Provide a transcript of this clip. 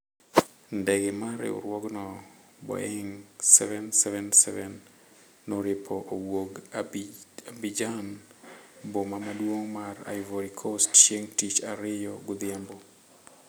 Ndege mar riwruogno, Boeing' 777 noripo owuok Abidjan, Boma maduong' mar Ivory Coast, chieng' tich ariyo godhiambo.